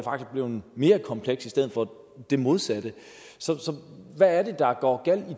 blevet mere komplekst i stedet for det modsatte så hvad er det der går galt